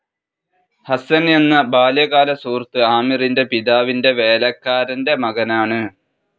ഹസ്സൻ എന്ന ബാല്യകാല സുഹൃത്ത് ആമിറിന്റെ പിതാവിന്റെ വേലക്കാരന്റെ മകനാണ്.